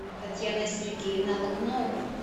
татьяна сергеевна логунова